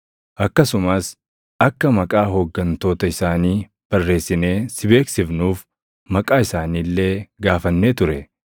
Akkasumas akka maqaa hooggantoota isaanii barreessinee si beeksifnuuf maqaa isaanii illee gaafannee ture.